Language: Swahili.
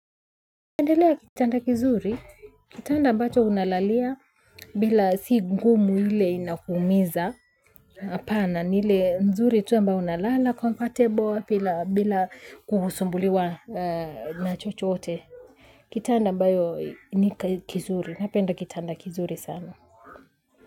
Napendelea kitanda kizuri, kitanda ambacho unalalia bila si ngumu ile inakuumiza. Apana ni hile nzuri tu ambayo unalala comfortable bila kusumbuliwa na chochote. Kitanda ambayo ni kizuri, napenda kitanda kizuri sana.